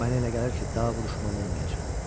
Mənə elə gəlir ki, daha vuruşmalı olmayacam.